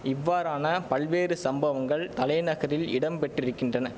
இவ்வாறான பல்வேறு சம்பவங்கள் தலைநகரில் இடம் பெற்றிரிக்கின்றன